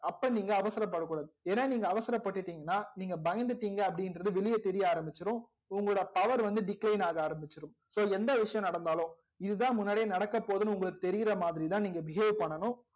அப்போ நீங்க அவசர படக்கூடாது ஏனா நீங்க அவசரப் பட்டுடிங்கனா நீங்க பயந்துடிங்க அப்டி இங்கர்து வெளிய தெரிய ஆரமிச்சிடும் உங்களோட power வந்து decline ஆகா அரமிச்சிடும் so எந்த விஷயம் நடந்தாலும் இதுதா முன்னாடியே நடக்க போதுன்னு உங்களுக்கு தெரிரா மாதிரி தா நீங்க behave பண்ணனும்